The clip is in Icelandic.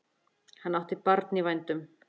Hann átti barn í vændum.